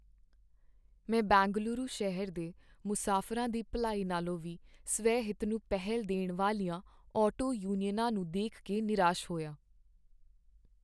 ਮੈਂ ਬੇਂਗਲੁਰੂ ਸ਼ਹਿਰ ਦੇ ਮੁਸਾਫਰਾਂ ਦੀ ਭਲਾਈ ਨਾਲੋਂ ਵੀ ਸਵੈ ਹਿੱਤ ਨੂੰ ਪਹਿਲ ਦੇਣ ਵਾਲੀਆਂ ਆਟੋ ਯੂਨੀਅਨਾਂ ਨੂੰ ਦੇਖ ਕੇ ਨਿਰਾਸ਼ ਹੋਇਆ